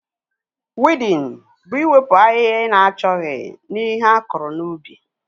Wiidin bụ iwepụ ahịhịa ị na-achọghị na ihe akụrụ n'ubi